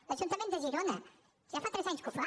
l’ajuntament de girona ja fa tres anys que ho fa